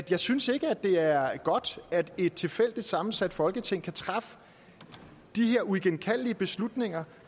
jeg synes ikke at det er godt at et tilfældigt sammensat folketing kan træffe de her uigenkaldelige beslutninger